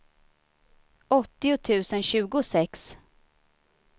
åttio tusen tjugosex